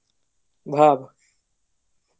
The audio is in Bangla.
ভাব